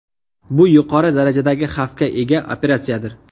Bu yuqori darajadagi xavfga ega operatsiyadir.